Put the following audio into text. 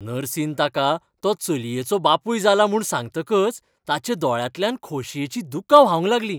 नर्सीन ताका तो चलयेचो बापूय जाला म्हूण सांगतकच ताच्या दोळ्यांतल्यान खोशयेचीं दुकां व्हांवंक लागली.